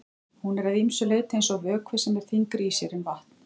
Hún er að ýmsu leyti eins og vökvi sem er þyngri í sér en vatn.